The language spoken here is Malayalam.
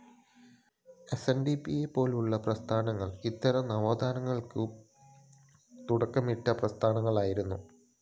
എസ്എൻഡിപിയെ പോലുളള പ്രസ്ഥാനങ്ങൾ ഇത്തരം നവോത്ഥാനങ്ങൾക്ക് തുടക്കമിട്ട പ്രസ്ഥാനങ്ങളായിരുന്നു